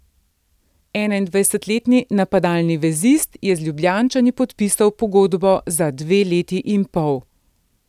Enaindvajsetletni napadalni vezist je z Ljubljančani podpisal pogodbo za dve leti in pol.